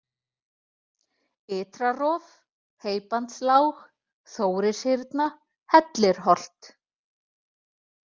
Ytrarof, Heybandslág, Þórishyrna, Hellirholt